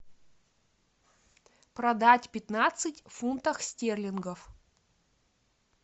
продать пятнадцать фунтов стерлингов